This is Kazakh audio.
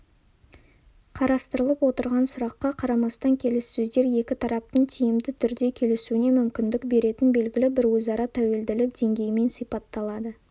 қарастырылып отырған сұраққа қарамастан келіссөздер екі тараптың тиімді түрде келісуіне мүмкіндік беретін белгілі бір өзара тәуелділік деңгейімен сипатталады